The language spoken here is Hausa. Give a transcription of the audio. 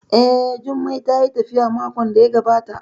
Eh, Jummai tayi tafiya makon da ya gabata